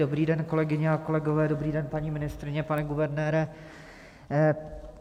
Dobrý den, kolegyně a kolegové, dobrý den, paní ministryně, pane guvernére.